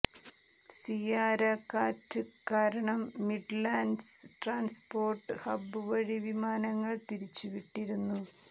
Ciara കാറ്റ് കാരണം Midlands transport hub വഴി വിമാനങ്ങൾ തിരിച്ചുവിട്ടിരുന്നു